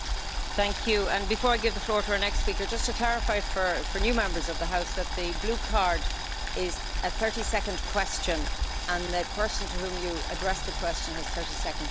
Before I give the floor to the next speaker, just to clarify for new Members of the House that the blue card means a 30 second question, and the person to whom you address the question has 30 seconds to answer.